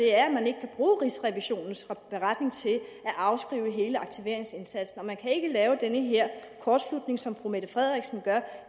er at man ikke kan bruge rigsrevisionens beretning til at afskrive hele aktiveringsindsatsen man kan ikke lave den her kortslutning som fru mette frederiksen laver